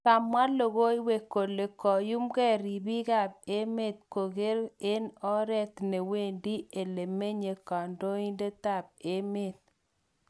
Kamwa lokowek kole kayumke reepik kap emet kokiker eng oret newendi elemenye kondoidet ab emet.